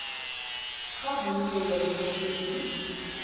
ga bonnye jwa dithuto di